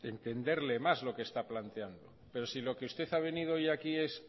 entenderle más lo que está planteando pero si lo que usted ha venido hoy aquí es